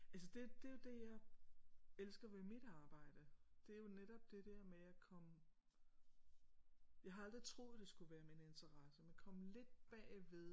Altså det det er jo det jeg elsker ved mit arbejde det er jo netop det der med at komme jeg har aldrig troet det skulle være min interesse men komme lidt bagved